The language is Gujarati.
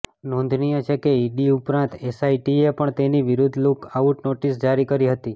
નોંધનીય છે કે ઇડી ઉપરાંત એસઆઇટીએ પણ તેની વિરુદ્વ લૂક આઉટ નોટિસ જારી કરી હતી